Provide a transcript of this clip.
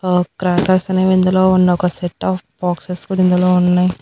ఆ క్రాకర్స్ అనేవి ఇందులో ఉన్న ఒక సెట్ ఆఫ్ బాక్సెస్ కూడా ఇందులో ఉన్నాయ్.